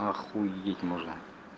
охуеть можно